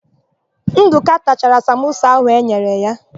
Ndụka tachara samosa áhụ̀ e nyere ya.